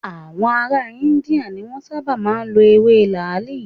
Àwọn ará India ni Wọ́n sábà máa ń lọ ewé làáàlì.